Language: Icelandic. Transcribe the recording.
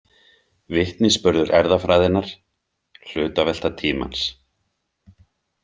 Vitnisburður erfðafræðinnar Hlutavelta tímans.